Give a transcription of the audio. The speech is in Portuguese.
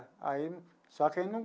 Aí num só que aí num.